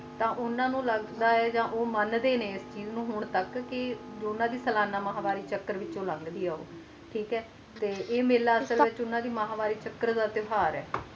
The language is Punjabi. ਤੇ ਉੰਨਾ ਨੂੰ ਲੱਗਦਾ ਹੈ ਆ ਉਹ ਮਨ ਦੇ ਨੇ ਇਸ ਚੀਜ਼ ਨੂੰ ਕ ਉੰਨਾ ਦੀ ਸਾਲਾਨਾ ਮਾਹਵਾਰੀ ਚਾਕਰ ਵਿਚ ਲੱਗਦੀ ਆ ਉਹ ਤੇ ਆਏ ਮੈਲਾ ਉਨ੍ਹਾਂ ਦੀ ਮਾਹਵਾਰੀ ਚਾਕਰ ਦਾ ਤੇਹਵਾਰ ਹੈ